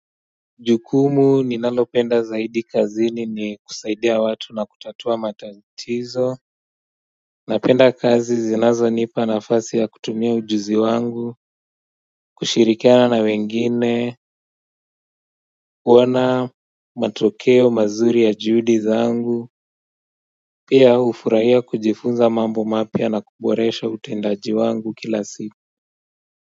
Jukumu ninalo penda zaidi kazini ni kusaidia watu na kutatua matatizo napenda kazi zinazo nipa nafasi ya kutumia ujuzi wangu kushirikiana na wengine kuona matokeo mazuri ya juhudi zangu pia hufurahia kujifunza mambo mapya na kuboresha utendaji wangu kila siku kwa hiyo.